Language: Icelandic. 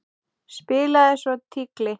Spilaði svo tígli.